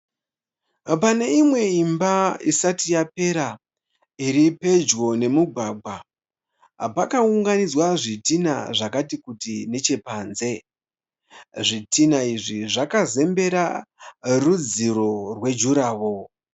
Pane imwe imba isati yapera iri pedyo nemugwagwa pakaunganidziwa zvitinha nechekunze. Zvitinha izvi zvakazembera rudziro wejurahoro.